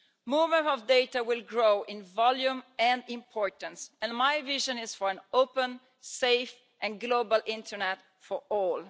Movement of data will grow in volume and importance, and my vision is for an open, safe and global internet for all.